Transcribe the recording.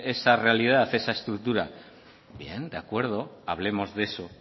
esa realidad esa estructura bien de acuerdo hablemos de eso